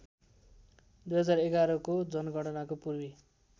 २०११को जनगणनाको पूर्वी